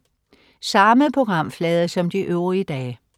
Samme programflade som de øvrige dage